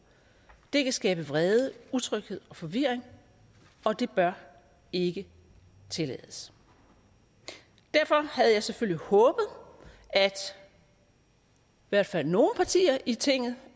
det kan skabe vrede utryghed og forvirring og det bør ikke tillades derfor havde jeg selvfølgelig håbet at i hvert fald nogle partier i tinget